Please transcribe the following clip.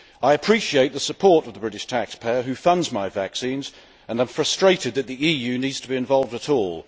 I appreciate the support of the British taxpayer who funds my vaccines and I am frustrated that the EU needs to be involved at all.